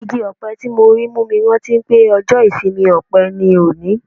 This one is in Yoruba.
Igi-ọpẹ tí mo rí mú mi rántí pé ọjọ́ ìsinmi ọpẹ ni òní.